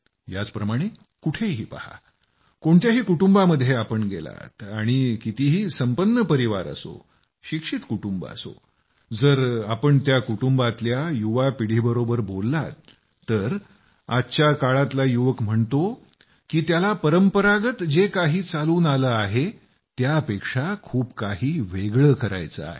याचप्रमाणे कुठंही पहा कोणत्याही कुटुंबामध्ये गेलात आणि कितीही संपन्न परिवार असो शिक्षित कुटुंब असो जर तुम्ही त्या कुटुंबातल्या युवा पिढीबरोबर बोललात तर आजच्या काळातला युवक म्हणतो की त्याला परंपरागत जे काही चालून आलं आहे त्यापेक्षा खूप काही वेगळं करायचं आहे